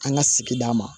An ka sigida ma